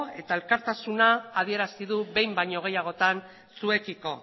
eta elkartasuna adierazi du behin baino gehiagotan zuekiko